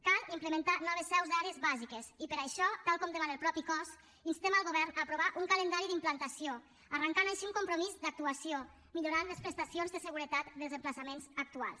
cal implementar noves seus d’àrees bàsiques i per això tal com demana el mateix cos instem el govern a aprovar un calendari d’implantació arrencant així un compromís d’actuació millorant les prestacions de seguretat dels emplaçaments actuals